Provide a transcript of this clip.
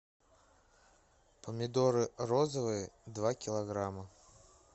помидоры розовые два килограмма